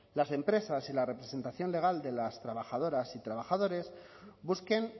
las empresas y la representación legal de las trabajadoras y trabajadores busquen